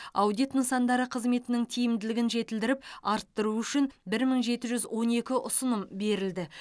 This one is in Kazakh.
аудит нысандары қызметінің тиімділігін жетілдіріп арттыру үшін бір мың жеті жүз он екі ұсыным берілді